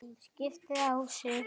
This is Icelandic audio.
skipaði Ási.